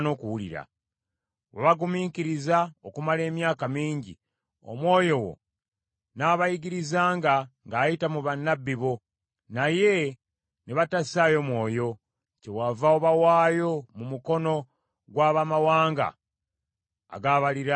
Wabagumiikiriza okumala emyaka mingi, Omwoyo wo n’abayigirizanga ng’ayita mu bannabbi bo, naye ne batassaayo mwoyo, kyewava obawaayo mu mukono gw’abamawanga agabaliraanye.